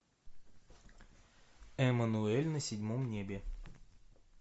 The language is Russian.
эммануэль на седьмом небе